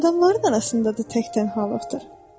Adamların arasında da tək-tənhalıqdır.